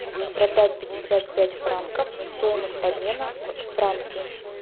продать пятьдесят пять франков стоимость обмена в франки